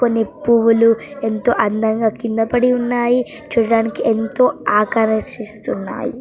కొన్ని పువ్వులు ఎంతో అందంగా కిందనే పడి ఉన్నాయి చూడ్డానికి ఎంతో ఆకరాశిస్తున్నాయి.